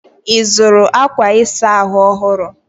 Ị zụrụ akwa ịsa ahụ ọhụrụ?